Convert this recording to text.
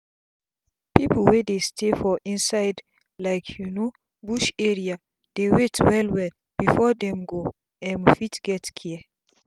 pipu wey dey stay for inside like you know bush area dey wait well well before dem go um fit get care